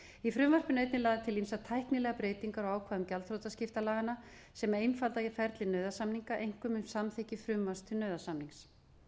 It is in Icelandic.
í frumvarpinu eru einnig lagðar til ýmsar tæknilegar breytingar á ákvæðum gjaldþrotaskiptanna sem einfalda eiga ferli nauðasamninga einkum um samþykki sumra til nauðasamnings